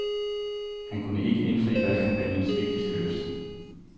Han kunne ikke indfri valgkampagnens vigtigste løfte.